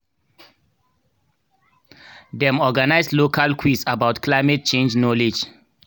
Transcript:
dem organise local quiz about climate change knowledge